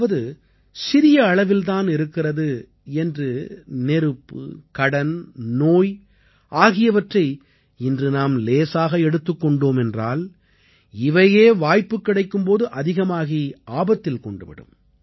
அதாவது சிறிய அளவில் தானே இருக்கிறது என்று நெருப்பு கடன் நோய் ஆகியவற்றை இன்று நாம் லேசாக எடுத்துக் கொண்டோம் என்றால் இவையே வாய்ப்பு கிடைக்கும் போது அதிகமாகி ஆபத்தில் கொண்டு விடும்